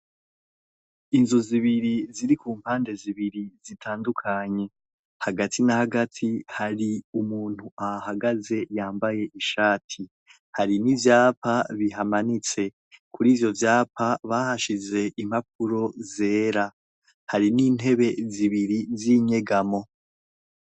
Inzu zibiri ziri ku mpande zibiri zitandukanye, hagati nahagati hari umuntu ahagaze yambaye ishati. Hari n'ivyapa bihamanitse. Kurivyo vyapa bahashize impapuro zera. Hari n'intebe zibiri z'inyegamo.